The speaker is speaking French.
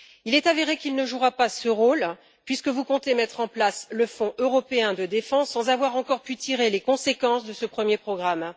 Il est avéré qu'il ne jouera pas ce rôle puisque vous comptez mettre en place le Fonds européen de défense, sans avoir encore pu tirer les conséquences de ce premier programme.